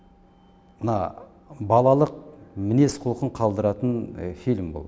мына балалық мінез құлқын қалдыратын фильм бұл